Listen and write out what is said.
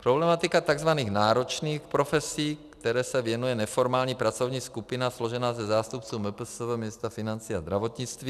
Problematika tzv. náročných profesí, které se věnuje neformální pracovní skupina složená ze zástupců MPSV, ministra financí a zdravotnictví.